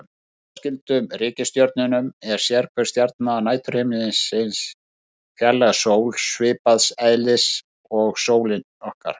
Að undanskildum reikistjörnunum er sérhver stjarna næturhiminsins fjarlæg sól, svipaðs eðlis og sólin okkar.